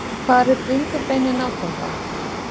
Hvar er bringubeinið nákvæmlega?